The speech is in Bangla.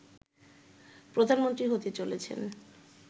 প্রধানমন্ত্রী হতে চলেছেন